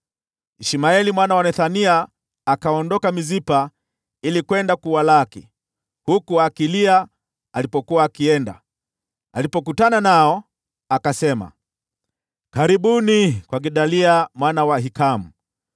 Ishmaeli mwana wa Nethania akaondoka Mispa ili kwenda kuwalaki, huku akilia alipokuwa akienda. Alipokutana nao, akasema, “Karibuni kwa Gedalia mwana wa Ahikamu.”